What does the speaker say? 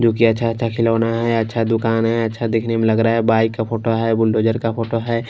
जो कि अच्छा-अच्छा खिलौना है अच्छा दुकान है अच्छा दिखने में लग रहा है बाइक का फोटो है बुलडोजर का फोटो है।